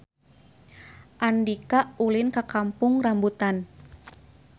Andika ulin ka Kampung Rambutan